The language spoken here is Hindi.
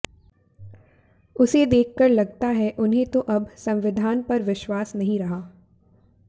उसे देखकर लगता है उन्हें तो अब संविधान पर विश्वास नहीं रहा